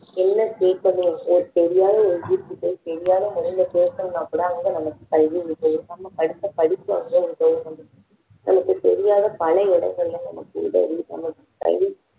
என்ன கேட்கணும்னு தெரியாத ஒரு மனிதர் கிட்ட தெரியாத மொழியில பேசணும்னா கூட அங்க நமக்கு கல்வி உதவும் படிப்பு வந்து உதவும் நமக்கு தெரியாத பல இடங்களில நமக்கு உதவுவது கல்வி